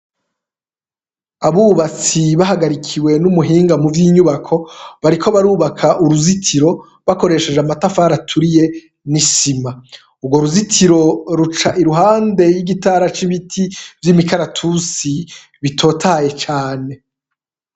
Abubatsi bahagarikiwe n’umuhinga muvyinyubako bariko barubaka uruzitiro bakoresheje amatafari aturiye n’isima. Urwo ruzitiro ruca iruhande yigi tara c’ibiti vy’imikaratusi bitotahaye cane.